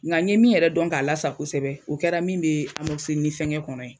Nka ye min yɛrɛ dɔn k'a la sa kosɛbɛ, o kɛra min bɛ fɛnkɛ kɔnɔ ye.